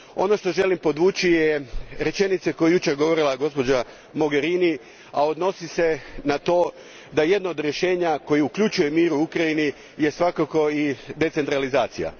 Ono što želim podvući je rečenica koju je jučer rekla gospođa Mogherini, a odnosi se na to da jedno od rješenja koje uključuje mir u Ukrajini je svakako i decentralizacija.